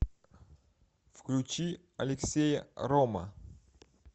включи алексея рома